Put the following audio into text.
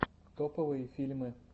топовые фильмы